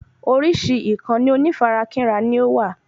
Orísìí ìkànnì onífarakínra ni ówà